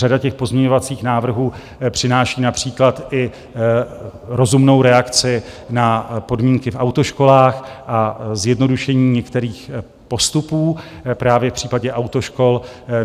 Řada těch pozměňovacích návrhů přináší například i rozumnou reakci na podmínky v autoškolách a zjednodušení některých postupů právě v případě autoškol.